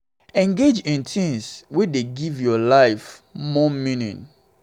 engage in things wey dey give your life more life more meaning